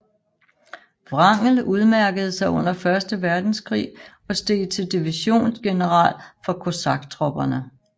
Wrangel udmærkede sig under Første Verdenskrig og steg til divisiongeneral for kosaktropperne